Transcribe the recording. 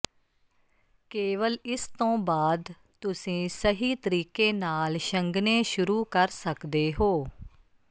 ਕੇਵਲ ਇਸ ਤੋਂ ਬਾਅਦ ਤੁਸੀਂ ਸਹੀ ਤਰੀਕੇ ਨਾਲ ਛੰਗਣੇ ਸ਼ੁਰੂ ਕਰ ਸਕਦੇ ਹੋ